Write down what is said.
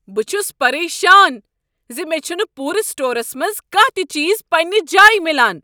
بہٕ چھس پریشان ز مےٚ چھنہٕ پورٕ سٹورس منٛز کانہہ تہ چیز پننہ جایہ میلان۔